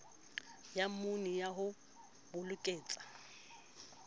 ya mmuni ya ho bokelletsa